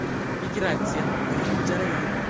Migratsiya – doimiy jarayon.